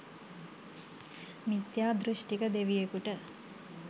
මිථ්‍යා දෘෂ්ටික දෙවියකුට